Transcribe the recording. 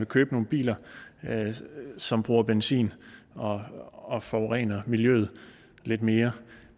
købe nogle biler som bruger benzin og og forurener miljøet lidt mere